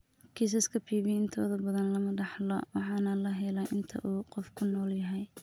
Kiisaska PV intooda badan lama dhaxlo waxaana la helaa inta uu qofku nool yahay.